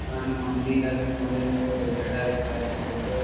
এইখানে মন্দির আছে মাঝেমাঝে চাটায়িই বিছা আছে কতো --